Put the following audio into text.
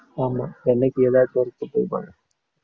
ஆமா என்னைக்கும் ஏதாவது வறுத்துட்டே இருப்பாங்க.